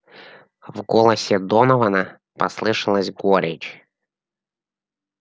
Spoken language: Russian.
в голосе донована послышалась горечь